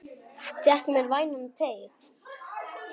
Fékk mér vænan teyg.